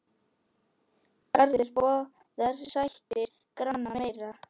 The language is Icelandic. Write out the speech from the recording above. Garður boðar sættir granna meiri.